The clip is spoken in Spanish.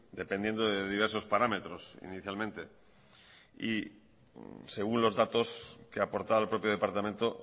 dependiendo de diversos parámetros inicialmente y según los datos que aportaba el propio departamento